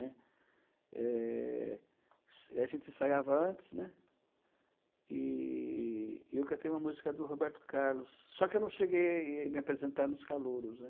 né. Eh... A gente ensaiava antes, e e eu cantei uma música do Roberto Carlos, só que eu não cheguei a me apresentar nos calouros, né.